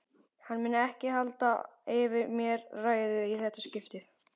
Hann mun ekki halda yfir mér ræðu í þetta skiptið.